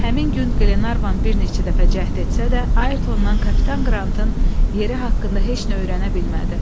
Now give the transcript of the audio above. Həmin gün Qlenarvan bir neçə dəfə cəhd etsə də, Ayrtondan kapitan Qrantın yeri haqqında heç nə öyrənə bilmədi.